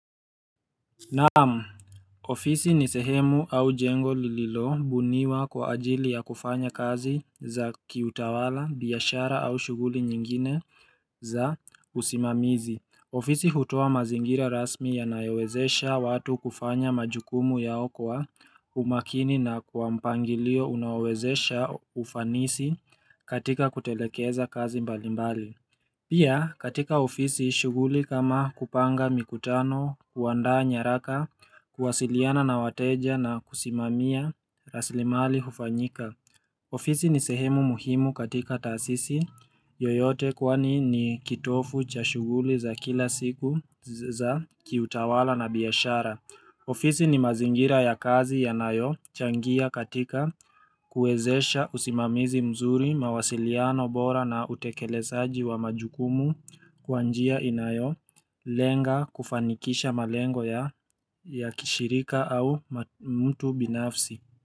Naam, ofisi ni sehemu au jengo lililobuniwa kwa ajili ya kufanya kazi za kiutawala, biashara au shughuli nyingine za usimamizi. Ofisi hutoa mazingira rasmi yanayowezesha watu kufanya majukumu yao kwa umakini na kwa mpangilio unaowezesha ufanisi katika kutelekeza kazi mbalimbali Pia katika ofisi shughuli kama kupanga mikutano, kuandaa nyaraka, kuwasiliana na wateja na kusimamia raslimali hufanyika ofisi ni sehemu muhimu katika taasisi yoyote kwani ni kitovu cha shughuli za kila siku za kiutawala na biashara. Ofisi ni mazingira ya kazi yanayo changia katika kuwezesha usimamizi mzuri, mawasiliano bora na utekelezaji wa majukumu kwa njia inayo lenga kufanikisha malengo ya ya kishirika au mtu binafsi.